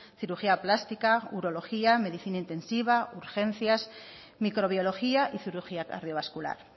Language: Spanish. cirugía plástica urología medicina intensiva urgencias microbiología y cirugía cardiovascular